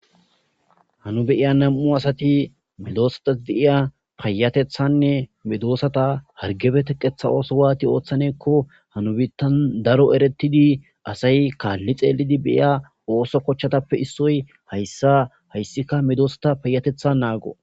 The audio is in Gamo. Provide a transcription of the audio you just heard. Ha nu beiya nam'u asati midoosatas deiya payatethanne midoosata hargebe teqetha ooso waati ooththanekko hanu biittan daro eretidi asay kaalli xeelidi beiya ooso kochchatappe issoy hayssa hayssika medosata payatetha naago